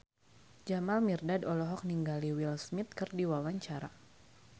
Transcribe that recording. Jamal Mirdad olohok ningali Will Smith keur diwawancara